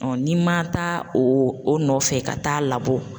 n'i ma taa o o nɔfɛ ka taa labɔ.